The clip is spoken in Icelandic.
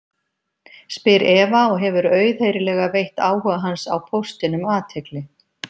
spyr Eva og hefur auðheyrilega veitt áhuga hans á póstinum athygli.